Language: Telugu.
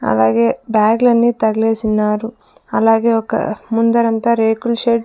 అలాగే బ్యాగులన్నీ తగిలేసిన్నారు అలాగే ఒక ముందరంతా రేకుల షెడ్ .